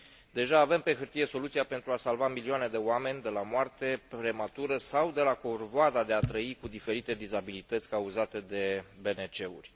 Deja avem pe hârtie soluția pentru a salva milioane de oameni de la moarte prematură sau de la corvoada de a trăi cu diferite dizabilități cauzate de BNT uri.